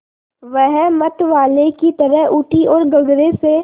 वह मतवाले की तरह उठी ओर गगरे से